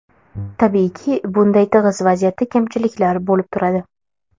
Tabiiyki, bunday tig‘iz vaziyatda kamchiliklar bo‘lib turadi.